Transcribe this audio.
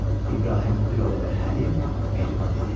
İbrahim bir o qədər həlim, mehriban idi.